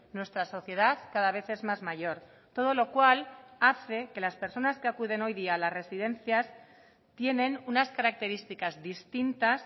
nuestra sociedad cada vez es más mayor todo lo cual hace que las personas que acuden hoy día a las residencias tienen unas características distintas